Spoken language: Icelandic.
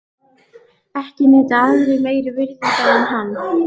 Ekki njóta aðrir meiri virðingar en hann.